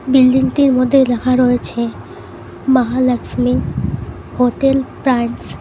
বিল্ডিংটির মধ্যে লেখা রয়েছে মহালক্ষ্মী হোটেল প্রাইন্স ।